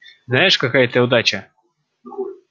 знаешь какая это удача